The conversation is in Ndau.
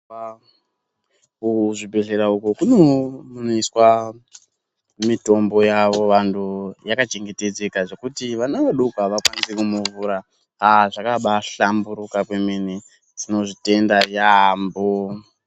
Mu zvibhehlera uko kune munewo munoiswa mitombo yavo vantu yaka chengetedza zvekuti vana vadoko ava kwanisi ku muvhura aaa zvakanai shamburika kwemene tinozvi tenda yambo.